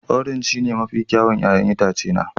Orange shine mafi kyawun 'ya'yan itace na